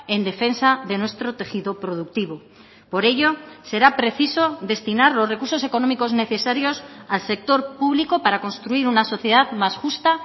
en defensa de nuestro tejido productivo por ello será preciso destinar los recursos económicos necesarios al sector público para construir una sociedad más justa